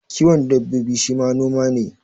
Kiwon dabbobi shi ma noma ne